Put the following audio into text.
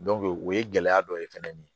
o ye gɛlɛya dɔ ye fɛnɛ ni